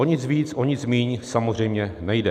O nic víc, o nic míň samozřejmě nejde.